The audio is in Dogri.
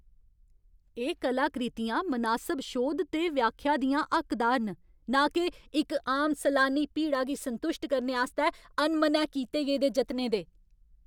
एह् कलाकृतियां मनासब शोध ते व्याख्या दियां हक्कदार न, नां के इक आम सलानी भीड़ा गी संतुश्ट करने आस्तै अनमनै कीते गेदे जतनें दे ।